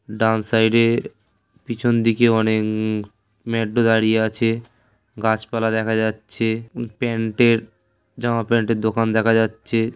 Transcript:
ডান সাইডে পিছন দিকে অনেক উম--মেট্রো দাঁড়িয়ে আছে গাছপালা দেখা যাচ্ছে উম প্যান্টের জামা প্যান্টের দোকান দেখা যাচ্ছে।